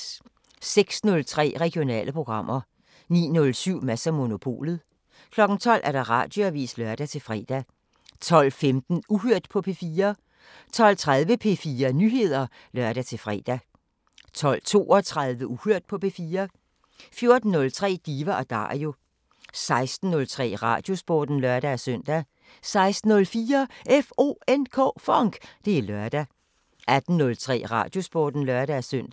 06:03: Regionale programmer 09:07: Mads & Monopolet 12:00: Radioavisen (lør-fre) 12:15: Uhørt på P4 12:30: P4 Nyheder (lør-fre) 12:32: Uhørt på P4 14:03: Diva & Dario 16:03: Radiosporten (lør-søn) 16:04: FONK! Det er lørdag 18:03: Radiosporten (lør-søn)